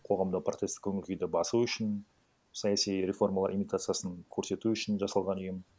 қоғамда протестік көңіл күйді басу үшін саяси реформалар имитациясын көрсету үшін жасалған ұйым